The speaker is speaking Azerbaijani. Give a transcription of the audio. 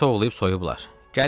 Məni tovlayıb soyublar.